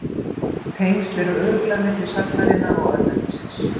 Tengsl eru örugglega milli sagnarinnar og örnefnisins.